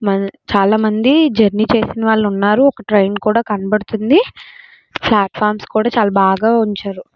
చాలామంది జర్నీ చేసిన వాళ్ళు ఉన్నారు ఒక ట్రైను కూడా కనబడుతుంది ప్లాట్ఫామ్స్ కూడా చాలా బాగా ఉంచారు.